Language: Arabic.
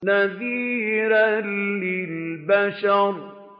نَذِيرًا لِّلْبَشَرِ